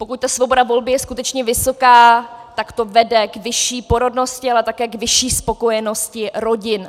Pokud ta svoboda volby je skutečně vysoká, tak to vede k vyšší porodnosti, ale také k vyšší spokojenosti rodin.